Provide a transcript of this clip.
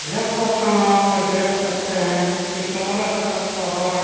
ये फोटो में आप देख सकते है की चारों तरफ पहाड़ --